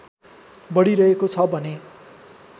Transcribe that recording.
बढिरहेको छ भने